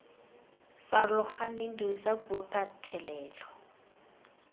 farologaneng dirisa puo ka thelelo